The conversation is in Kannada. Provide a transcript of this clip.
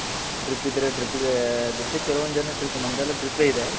drip ಇದ್ರೆ dripಗೆ ಬಿಡ್ತೀವಿ ಕೆಲ್ವೊಂದೆಲ್ಲ drip ನಮ್ದೆಲ್ಲ dripಪೆ ಇದೆ.